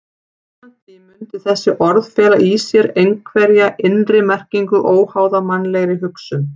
Samkvæmt því mundu þessi orð fela í sér einhverja innri merkingu óháða mannlegri hugsun.